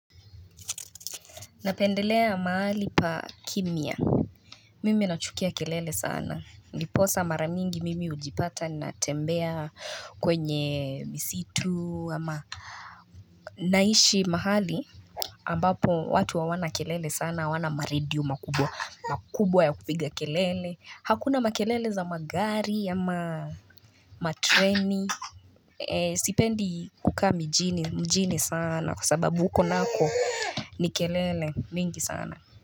Napendelea mahali pa kimia Mimi nachukia kelele sana ndiposa maramingi mimi ujipata natembea kwenye msitu ama Naishi mahali ambapo watu hawana kelele sana wawana maredio makubwa ya kupiga kelele hakuna makelele za magari ama matreni Sipendi kukami mjini sana kwa sababu huko nako ni kelele mingi sana.